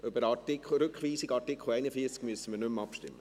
– Über die Rückweisung von Artikel 41 müssen wir nicht mehr abstimmen.